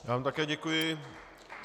Já vám také děkuji.